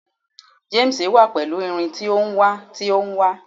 James wa pẹlu irin ti o n wa ti o n wa